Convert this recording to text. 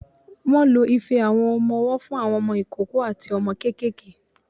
Wọ́n lo ife àwọn ọmọ-ọwọ́ fún àwọn ọmọ ìkókó àti ọmọ kéékèèké.